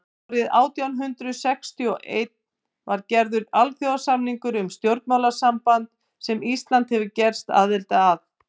árið nítján hundrað sextíu og einn var gerður alþjóðasamningur um stjórnmálasamband sem ísland hefur gerst aðili að